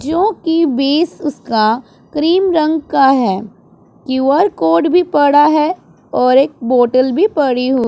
क्योंकि बेस उसका क्रीम रंग का है क्यू_आर कोड भी पड़ा है और एक बोटल भी पड़ी हु--